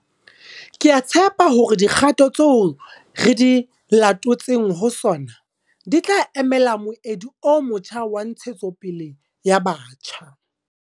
Ke a tshepa hore dikgato tseo re di talotseng ho SoNA di tla emela moedi o motjha wa ntshetsopele ya batjha.